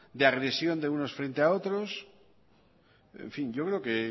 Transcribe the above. de agresión de unos frente a otros en fin yo creo que